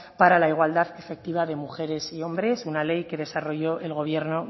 para la igualdad efectiva de mujeres y hombres una ley que desarrolló el gobierno